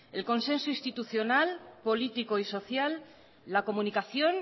el consenso institucional político y social la comunicación